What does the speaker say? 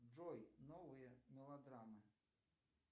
джой новые мелодрамы